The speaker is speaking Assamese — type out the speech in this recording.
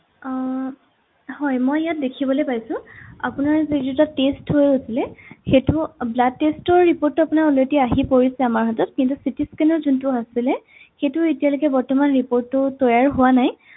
আহ হয় মই ইয়াত দেখিবলে পাইছো আপোনাৰ যি দুটা test হৈ আছিলে সেইটো blood test ৰ report টো আপোনাৰ already আহি পৰিছে আমাৰ হাতত কিন্তু CT scan যোনটো আছিলে সেইটো এতিয়ালৈকে বৰ্তমান report টো তৈয়াৰ হোৱা নাই